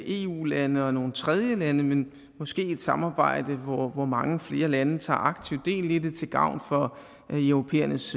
eu lande og nogle tredjelande men måske et samarbejde hvor mange flere lande tager aktivt del i det til gavn for europæernes